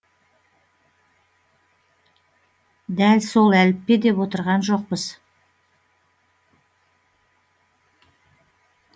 дәл сол әліппе деп отырған жоқпыз